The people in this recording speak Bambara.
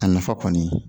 A nafa kɔni